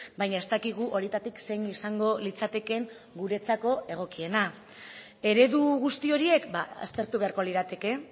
baina ez dakigu horietatik zein izango litzatekeen guretzako egokiena eredu guzti horiek aztertu beharko lirateke